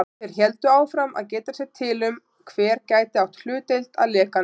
Þeir héldu áfram að geta sér til um, hver gæti átt hlutdeild að lekanum.